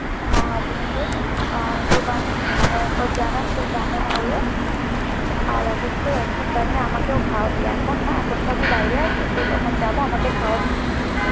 হ্যাঁ অবশ্যই, আর পর জানাস তোর কেমন হলো, আর অবশ্যই একদিন বানিয়ে আমাকেও খাওয়াবি, এখন না, এখন তো আমি বাইরে আছি, তো তখন যাবো আমাকে খাওয়াবি কিন্তু।